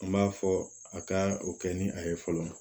N b'a fɔ a ka o kɛ ni a ye fɔlɔ